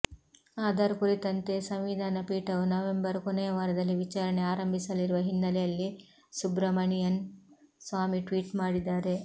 ಆಧಾರ್ ಕುರಿತಂತೆ ಸಂವಿಧಾನ ಪೀಠವು ನವೆಂಬರ್ ಕೊನೆಯ ವಾರದಲ್ಲಿ ವಿಚಾರಣೆ ಆರಂಭಿಸಲಿರುವ ಹಿನ್ನೆಲೆಯಲ್ಲಿ ಸುಬ್ರಮಣಿಯನ್ ಸ್ವಾಮಿ ಟ್ವೀಟ್ ಮಾಡಿದ್ದಾರೆ